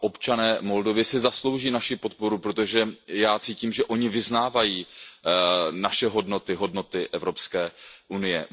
A občané Moldavska se zaslouží naši podporu, protože já cítím, že oni vyznávají naše hodnoty, hodnoty Evropské unie.